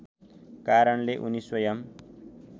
कारणले उनी स्वयम्